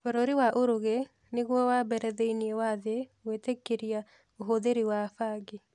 Bũrũri wa Uruguay nĩguo wa mbere thĩinĩ wa thĩ gũitĩkĩria ũhũthĩri wa bangi.